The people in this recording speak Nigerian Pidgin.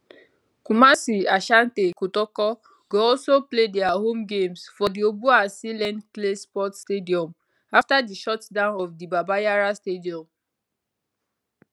kumasi asante kotoko go also play dia home games for di obuasi len clay sports stadium afta di shutdown of the baba yara stadium